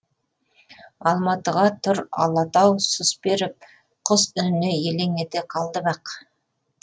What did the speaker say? алматыға тұр алатау сұс беріп құс үніне елең ете қалды бақ